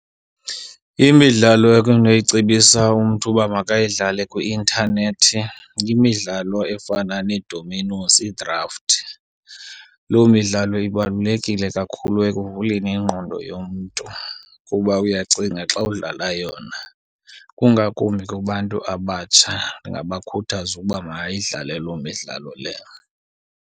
Imidlalo ekunoyicebisa umntu uba makayidlale kwi-intanethi yimidlalo efana needominosi, idrafti. Loo midlalo ibalulekile kakhulu ekuvuleni ingqondo yomntu kuba uyacinga xa udlala yona. Kungakumbi kubantu abatsha ndingabakhuthaza uba mabayidlale loo midlalo leyo.